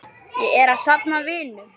Ég er að safna vinum.